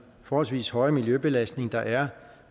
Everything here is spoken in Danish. forholdsvise høje miljøbelastning der er